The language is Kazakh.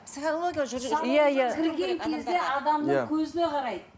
кірген кезде адамның көзіне қарайды